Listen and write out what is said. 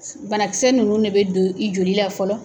Banakisɛ nunnu de bɛ don i joli la fɔlɔ.